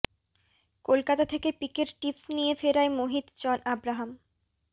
কলকাতা থেকে পিকের টিপস নিয়ে ফেরায় মোহিত জন আব্রাহাম